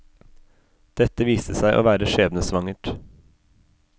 Dette viste seg å være sjebnesvangert.